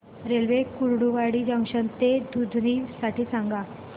railway Kurduwadi junction ते दुधनी साठी सांगा